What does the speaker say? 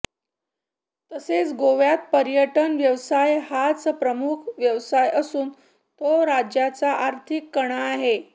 तसेच गोव्यात पर्यटन व्यवसाय हाच प्रमुख व्यावसाय असून तो राज्याचा आर्थीक कणा आहे